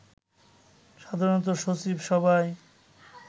সাধারণত সচিব সভায়